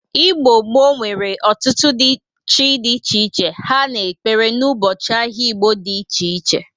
Igbo gboo nwere ọtụtụ chi dị iche iche ha na-ekpere n'ụbọchị ahịa Igbo dị iche iche.